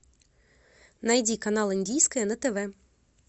найди канал индийское на тв